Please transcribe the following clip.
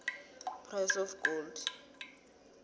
price of gold